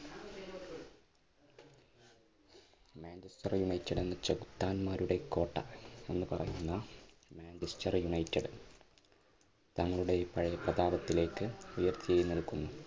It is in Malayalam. മാഞ്ചസ്റ്റർ യുണൈറ്റഡ് എന്ന ചെകുത്താന്മാരുടെ കോട്ട എന്ന് പറയുന്ന മാഞ്ചസ്റ്റർ യുണൈറ്റഡ് തങ്ങളുടെ പഴയ പ്രതാപത്തിലേക്ക് ഉയർത്തെഴുന്നേൽക്കുന്നു.